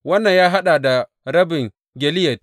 Wannan ya haɗa da rabin Gileyad.